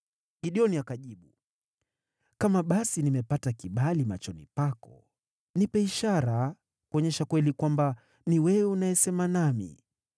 Gideoni akajibu, “Kama basi nimepata kibali machoni pako, nipe ishara kuonyesha kweli kwamba ni wewe unayesema nami.